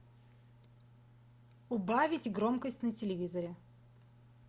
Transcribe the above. убавить громкость на телевизоре